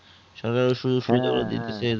শুধু সাইথে করে দিতেছে